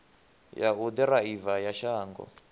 ya u ḓiraiva ya shango